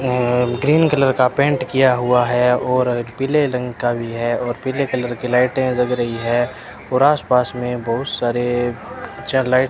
यहां green colour का paint किया हुआ है और पीले रंग का भी है और पीले कलर की लाइटें जग रही है और आस पास मे बहोत सारे चा लाइट --